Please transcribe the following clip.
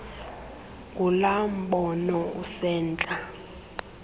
ngulaa mbono usentla